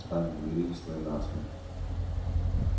встань у двери и стой насмерть